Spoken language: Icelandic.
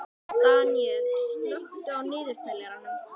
Daníella, slökktu á niðurteljaranum.